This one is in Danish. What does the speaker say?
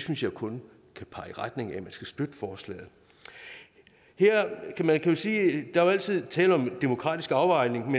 synes jeg kun kan pege i retning af at man skal støtte forslaget man kan sige at der altid er tale om en demokratisk afvejning